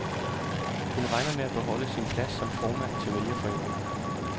Hun regner med at beholde sin plads som formand for vælgerforeningen.